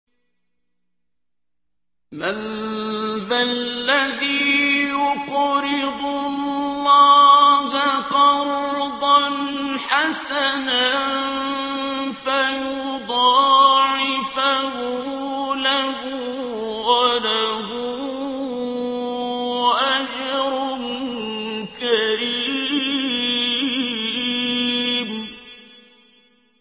مَّن ذَا الَّذِي يُقْرِضُ اللَّهَ قَرْضًا حَسَنًا فَيُضَاعِفَهُ لَهُ وَلَهُ أَجْرٌ كَرِيمٌ